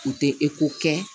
U tɛ kɛ